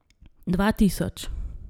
Dva tisoč.